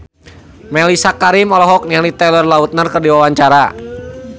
Mellisa Karim olohok ningali Taylor Lautner keur diwawancara